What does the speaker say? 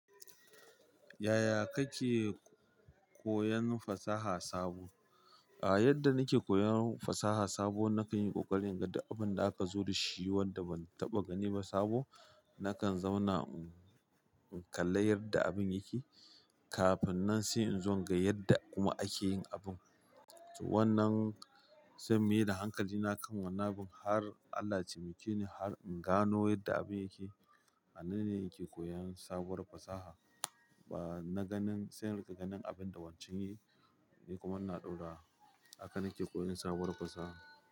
Yaya kake koyon fasaha sabo? A yadda nike koyon fasaha sabo, na kan yi ƙoƙari in ga duk abin da aka zo da shi, wanda ban taɓa gani ba sabo, nakan zauna in kalla yadda abin yake, kafin nan sai in zo in ga yadda kuma ake yin abun. Wannan sai na maida hankali na kan wannan abin har, Allah ya taimake ni har in gano yadda abin yake. A nan ne nike koyon sabuwar fasaha. Ba na ganin, sai in riƙa ganin abin da wancan ya yi, ni kuma ina ɗaura. Haka nike koyon sabuwar fasaha.